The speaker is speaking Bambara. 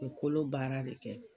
U bi kolo baarali kɛ